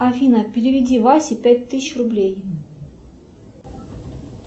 афина переведи васе пять тысяч рублей